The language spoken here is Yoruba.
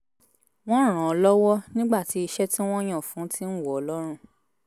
wọ́n ràn án lọ́wọ́ nígbà tí iṣẹ́ tí wọ́n yàn fún un ti ń wọ̀ ọ́ lọ́rùn